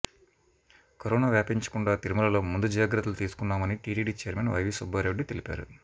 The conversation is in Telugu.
కరోనా వ్యాపించకుండా తిరుమలలో ముందు జాగ్రత్తలు తీసుకున్నామని టీటీడీ ఛైర్మన్ వైవీ సుబ్బారెడ్డి తెలిపారు